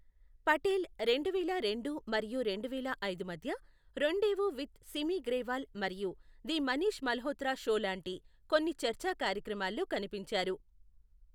పటేల్, రెండువేల రెండు మరియు రెండువేల ఐదు మధ్య, రొండేవు విత్ సిమి గ్రేవాల్ మరియు ది మనీష్ మల్హోత్రా షో లాంటి కొన్ని చర్చా కార్యక్రమాల్లో కనిపించారు.